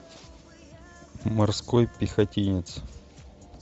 морской пехотинец